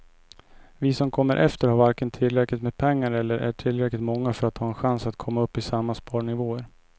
Vi som kommer efter har varken tillräckligt med pengar eller är tillräckligt många för att ha en chans att komma upp i samma sparnivåer.